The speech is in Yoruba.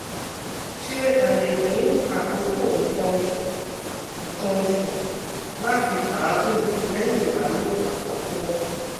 Ṣe aaye fun akoko nkan osu nkan osu lati faagun lẹhin ibalopo akọkọ